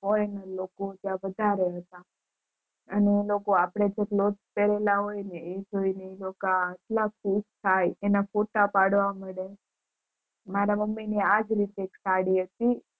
foreigner લોકો એ વધારે અને એ લોકો જે અપડે clothes પેરેલા હોય ને એ જોય ને એટલા ખુશ થાય ને એના photo પાડવા માંડે મારા મમ્મી ની આ રીતેજ સાડી હતી